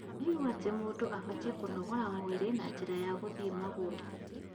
Twanaigua atĩ mũndũ abatiĩ kũnogora mwĩrĩ na njĩra ya gũthiĩ magũrũ